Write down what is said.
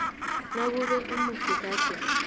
nakube umufi gade